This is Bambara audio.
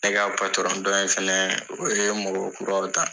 Ne ka patɔrɔn dɔni fɛnɛ o ye mɔgɔ kuraw ta